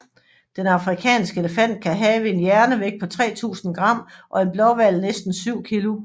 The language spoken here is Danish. Den afrikanske elefant kan have en hjernevægt på 3000 g og en blåhval næsten 7 kg